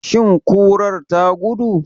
Shin kurar ta gudu?